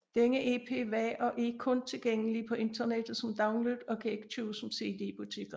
Denne EP var og er kun tilgængelig på internettet som download og kan ikke købes som CD i butikkerne